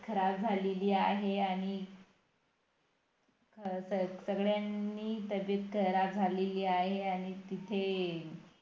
खराब झालेली आहे आणि सगळ्यांनी तब्बेत खराब झालेली आहे तिथे